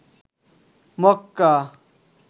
Mecca